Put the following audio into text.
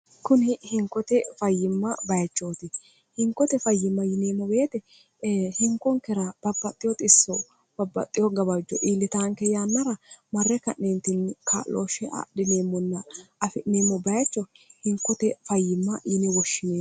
kuni hinkote fayyimma bayichooti inkote fayyimma yineemmo beete hinkonkera babbaxxiwoot issoo babbaxxiho gabajjo iillitaanke yaannara marre ka'neentinni ka'looshshe adhineemmonna afi'neemmo bayicho hinkote fayyimma yini woshshinen